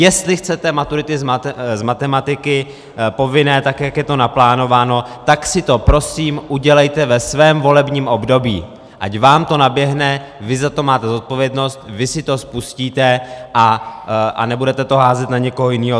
Jestli chcete maturity z matematiky povinné tak, jak je to naplánováno, tak si to prosím udělejte ve svém volebním období, ať vám to naběhne, vy za to máte zodpovědnost, vy si to spustíte a nebudete to házet na někoho jiného.